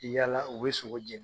yaala u bɛ sogo je